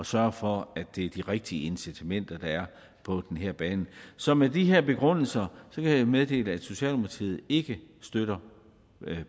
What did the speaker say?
sørge for at det er de rigtige incitamenter der er på den her bane så med de her begrundelser kan jeg meddele at socialdemokratiet ikke støtter